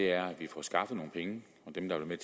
er at vi får skaffet nogle penge og dem der vil